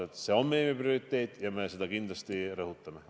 Jah, see on meie prioriteet ja me seda kindlasti rõhutame.